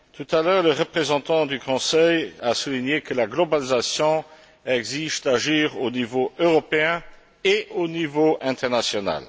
Tout à l'heure, le représentant du Conseil a souligné que la globalisation exige d'agir au niveau européen et au niveau international.